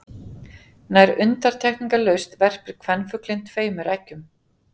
Nær undantekningarlaust verpir kvenfuglinn tveimur eggjum.